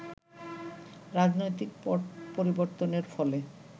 রাজনৈতিক পট পরিবর্তনের ফলে